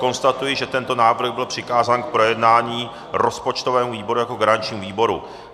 Konstatuji, že tento návrh byl přikázán k projednání rozpočtovému výboru jako garančnímu výboru.